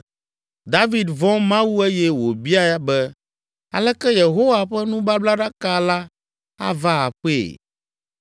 David vɔ̃ Mawu eye wòbia be “Aleke Yehowa ƒe nubablaɖaka la ava aƒee?”